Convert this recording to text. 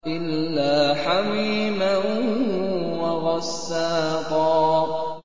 إِلَّا حَمِيمًا وَغَسَّاقًا